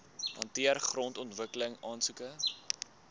hanteer grondontwikkeling aansoeke